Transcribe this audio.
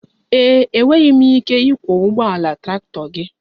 Ee e, enweghị m ike ịkwọ ụgbọala traktọ gị